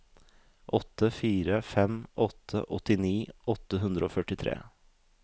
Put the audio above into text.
åtte fire fem åtte åttini åtte hundre og førtitre